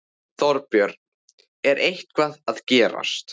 Þorbjörn: Er eitthvað að gerast?